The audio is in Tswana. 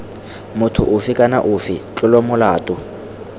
motho ofe kana ofe tlolomolato